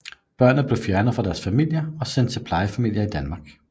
Børnene bliver fjernet fra deres familier og sendt til plejefamilier i Danmark